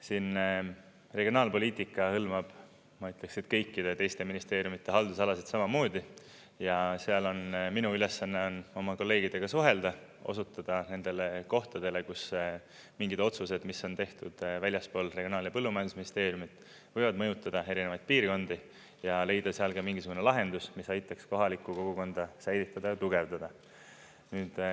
Siin regionaalpoliitika hõlmab, ma ütleks, et kõikide teiste ministeeriumide haldusalasid samamoodi ja seal minu ülesanne on oma kolleegidega suhelda, osutada nendele kohtadele, kus mingid otsused, mis on tehtud väljaspool Regionaal‑ ja Põllumajandusministeeriumit, võivad mõjutada erinevaid piirkondi ja leida seal ka mingisugune lahendus, mis aitaks kohalikku kogukonda säilitada ja tugevdada.